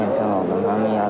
Çempion oldum.